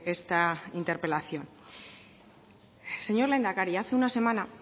esta interpelación señor lehendakari hace una semana